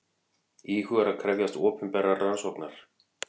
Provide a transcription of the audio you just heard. Íhugar að krefjast opinberrar rannsóknar